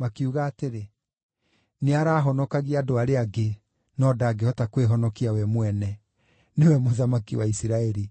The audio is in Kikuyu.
Makiuga atĩrĩ, “Nĩarahonokagia andũ arĩa angĩ, no ndangĩhota kwĩhonokia we mwene! Nĩwe Mũthamaki wa Isiraeli!